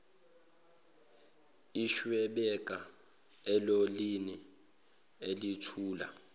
eshwibeka elolini elithutha